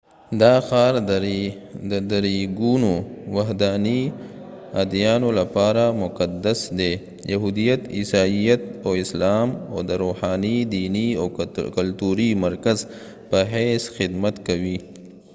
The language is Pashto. دا ښار د درېګونو وحدانی اديانو لپاره مقدس دي، یهوديت، عیسایت، او اسلام او د روحانی، دينی او کلتوری مرکز په حیث خدمت کوي